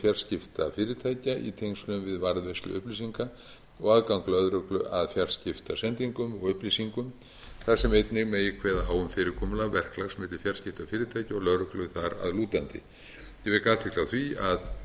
fjarskiptafyrirtækja í tengslum við varðveislu upplýsinga og aðgang lögreglu að fjarskiptasendingum og upplýsingum þar sem einnig megi kveða á um fyrirkomulag verklags milli fjarskiptafyrirtækja og lögreglu þar að lútandi ég vek athygli á því að umræða